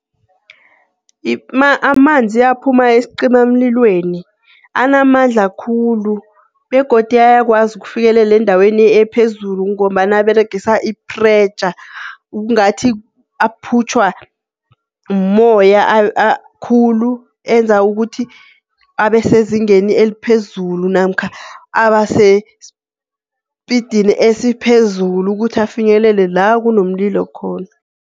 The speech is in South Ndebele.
Amanzi aphuma esicimamlilweni anamandla khulu begodu ayakwazi ukufikelela endaweni ephezulu, ngombana aberegisa i-pressure kungathi aphutjhwa moya khulu enza ukuthi abesezingeni eliphezulu, namkha abasesipidini esiphezulu, ukuthi afinyelele la kunomlilo khona.